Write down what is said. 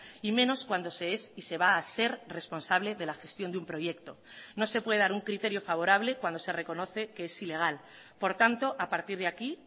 y menos cuando se es y se va a ser responsable de la gestión de un proyecto no se puede dar un criterio favorable cuando se reconoce que es ilegal por tanto a partir de aquí